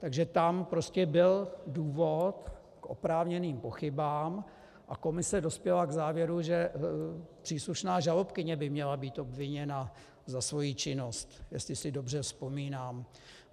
Takže tam prostě byl důvod k oprávněným pochybám a komise dospěla k závěru, že příslušná žalobkyně by měla být obviněna za svoji činnost, jestli si dobře vzpomínám.